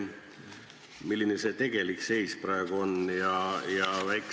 Milline see tegelik seis praegu on?